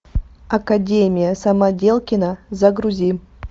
академия самоделкина загрузи